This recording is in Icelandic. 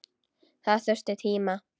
Það þurfti tíma.